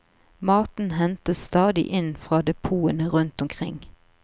Maten hentes stadig inn fra depotene rundt omkring.